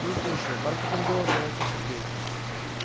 ну слушай бархатным голосом начал сергей